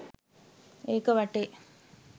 ඒක වටේ